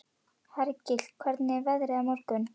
Hergill, hvernig er veðrið á morgun?